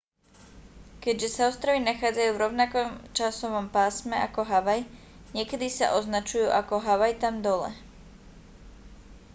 keďže sa ostrovy nachádzajú v rovnakom časovom pásme ako havaj niekedy sa označujú ako havaj tam dole